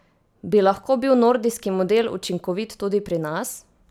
Bi lahko bil nordijski model učinkovit tudi pri nas?